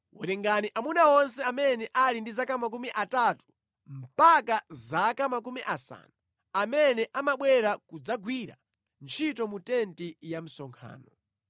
Werengani amuna onse amene ali ndi zaka makumi atatu mpaka zaka makumi asanu amene amabwera kudzagwira ntchito mu tenti ya msonkhano.